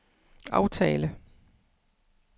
aftale